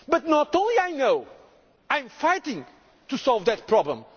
the difficulties of poverty in many of our sectors. But not